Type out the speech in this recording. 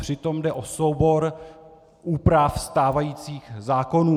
Přitom jde o soubor úprav stávajících zákonů.